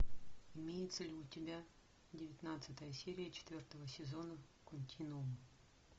имеется ли у тебя девятнадцатая серия четвертого сезона континуум